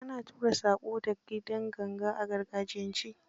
Ana tura saƙo da kidan ganga a gargajiyance.